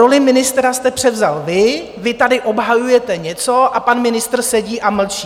Roli ministra jste převzal vy, vy tady obhajujete něco a pan ministr sedí a mlčí.